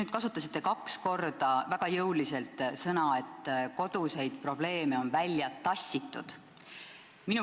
Te kasutasite kaks korda väga jõuliselt väljendit, et koduseid probleeme on kodust välja tassitud.